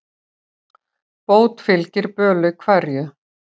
Bót fylgir böli hverju.